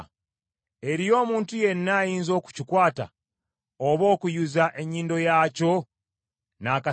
Eriyo omuntu yenna ayinza okukikwata, oba okuyuza ennyindo yaakyo n’akasaale?”